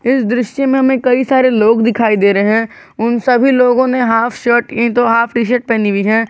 इस दृश्य में हमें कई सारे लोग दिखाई दे रहे हैं उन सभी लोगों ने हाफ शर्ट नहीं तो हाफ टी शर्ट पहनी हुई है।